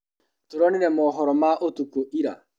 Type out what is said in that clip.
Tũronire mohoro ma ũtukũ ira.